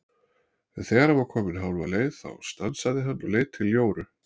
En þegar hann var kominn hálfa leið þá stansaði hann og leit til Jóru.